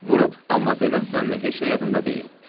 Vurub, amma deməz sənmi heç nə yadında deyil?